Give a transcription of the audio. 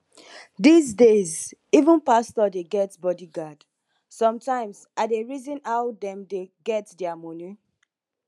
dis days even pastor dey get body guard sometimes i dey reason how dem dey get dia money